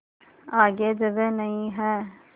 आगे जगह नहीं हैं